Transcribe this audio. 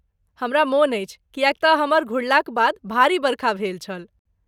हमरा मोन अछि किएक तँ हमर घुरलाक बाद भारी बरखा भेल छल।